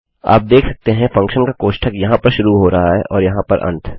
आप देख सकते हैं फंक्शन का कोष्ठक यहाँ पर शुरू हो रहा है और यहाँ पर अंत